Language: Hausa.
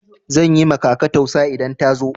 Zan yi ma kaka tausa idan ta zo.